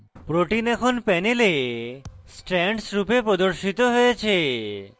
protein এখন panel strands রূপে প্রদর্শিত হয়েছে